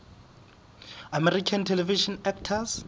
american television actors